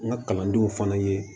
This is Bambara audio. N ka kalandenw fana ye